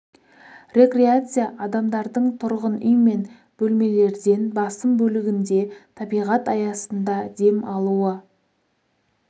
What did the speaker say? рекреация адамдардың тұрғын үй мен бөлмелерден басым бөлігінде табиғат аясында дем алуы